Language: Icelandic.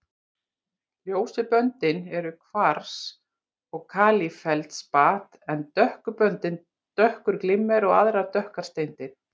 Ljósu böndin eru kvars og kalífeldspat en dökku böndin dökkur glimmer og aðrar dökkar steindir.